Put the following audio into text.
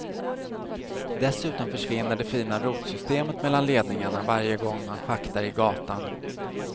Dessutom försvinner det fina rotsystemet mellan ledningarna varje gång man schaktar i gatan.